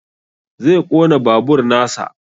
Zai ƙona babur nasa